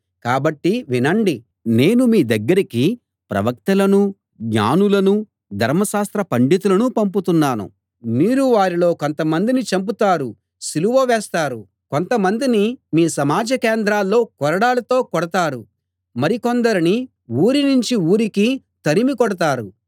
కాబట్టి వినండి నేను మీ దగ్గరికి ప్రవక్తలనూ జ్ఞానులనూ ధర్మశాస్త్ర పండితులనూ పంపుతున్నాను మీరు వారిలో కొంతమందిని చంపుతారు సిలువ వేస్తారు కొంతమందిని మీ సమాజ కేంద్రాల్లో కొరడాలతో కొడతారు మరి కొందరిని ఊరినుంచి ఊరికి తరిమి కొడతారు